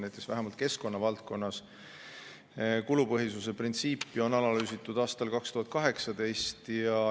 Näiteks vähemalt keskkonna valdkonnas kulupõhisuse printsiipi on analüüsitud aastal 2018.